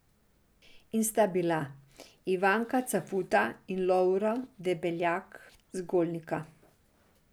In sta bila, Ivanka Cafuta in Lovro Debeljak z Golnika.